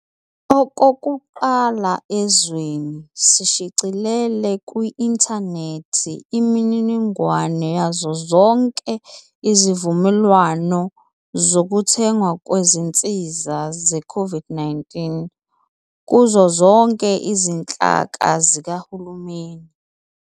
Okokuqala ezweni, sishicilele ku-inthanethi imininingwane yazo zonke izivumelwano zokuthengwa kwezinsiza ze-COVID-19 kuzo zonke izinhlaka zikahulumeni.